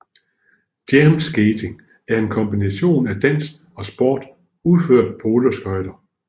Jam skating er en kombination af dans og sport udført på rulleskøjter